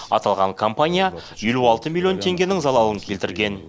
аталған компания елу алты миллион теңгенің залалын келтірген